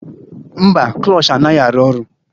Mba, klush anaghị arụ ọrụ